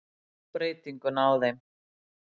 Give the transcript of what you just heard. Hann sá breytinguna á þeim.